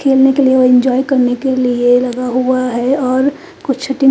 खेलने के लिए और इंजॉय करने के लिए लगा हुआ है और कुछ दिन--